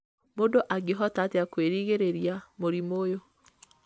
mũndũ angĩhota atĩa kwĩrigĩrĩria mũrimũ ũyũ